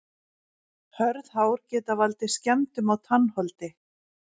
hörð hár geta valdið skemmdum á tannholdi